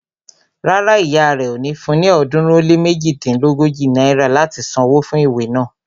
Rárá, ìyá rẹ ò ní fun ní ọ̀ọ́dúnrún ó lé méjodínlógójì náírà láti san wó fún ìwé naa